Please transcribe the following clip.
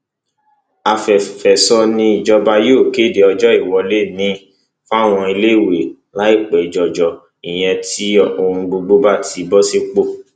àfẹfẹso ni ìjọba yóò kéde ọjọ ìwọlé miín fáwọn iléèwé láìpẹ jọjọ ìyẹn tí ohun gbogbo bá ti bọ sípò